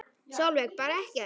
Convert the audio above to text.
Sólveig: Bara ekkert?